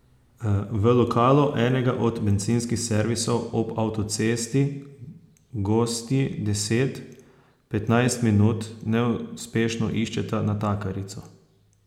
V lokalu enega od bencinskih servisov ob avtocesti gostji deset, petnajst minut neuspešno iščeta natakarico.